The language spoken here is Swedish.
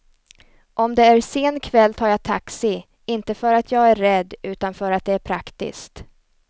Om det är sen kväll tar jag taxi, inte för att jag är rädd utan för att det är praktiskt.